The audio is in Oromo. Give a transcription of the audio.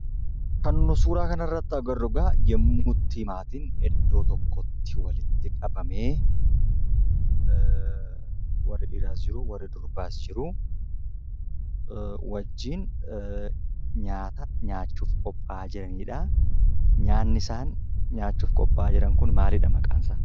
Kan nuti suuraa kana irratti agarru egaa yemmuu itti maatiin iddoo tokkotti walitti qabamee, warri dhiiraas jiru, warri durbaas jiru; wajjin nyaata nyaachuuf qopha'aa jiraniidha. Nyaatni isaan nyaachuuf qopha'aa jiran kun maalidha maqaan isaa?